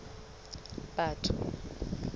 batho